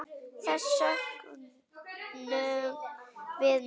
Þess söknum við nú.